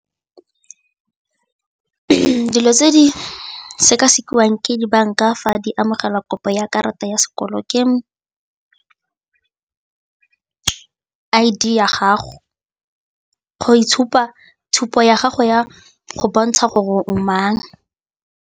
Dilo tse di sekasekiwang ke dibanka fa di amogela kopo ya karata ya sekoloto ke I_D ya gago, tshupo ya gago ya go bontsha gore o mang.